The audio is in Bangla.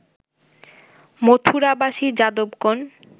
মথুরাবাসী যাদবগণ